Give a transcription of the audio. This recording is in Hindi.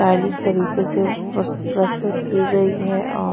स्टाइलिश तरीके से प्रस्तुत की गई है और--